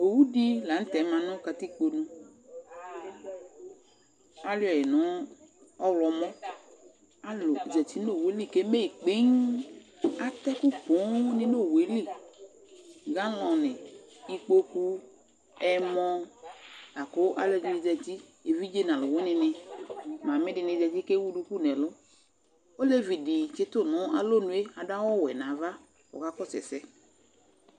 Owʊ dɩ lanʊtɛ ma nʊ katikpo nu Alʊɛƴɩ nʊ ɔwlɔmɔ Alʊ zatɩ nowʊelɩ keme kpeee Atɛkʊ ƒoo ŋɩ nʊ owʊe lɩ, galɔnɩ, ɩkpokʊ, ɛmɔ akʊ alʊ ɛdɩnɩ zatɩ Evidze nalʊwʊɩni nɩ, mamɩ dɩnɩ zatɩ kewʊ dʊkʊ nɛlʊ Oleʋɩ dɩ tsɩtʊ nʊ alɔnʊe adʊ awʊ wɛ ŋaʋa kɔka ƙɔsʊ ɛsɛ